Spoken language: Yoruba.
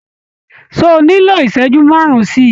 Ṣé o nílò ìṣẹ́jú márùn-ún sí i?